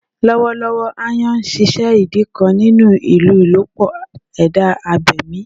Lọwọlọwọ, "aayan" ṣiṣẹ idi kan ninu ilolupo eda abemi.